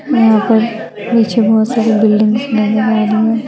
यहाँ पर पीछे बहुत सारी बिल्डिंग बने वाली है।